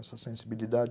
Essa sensibilidade...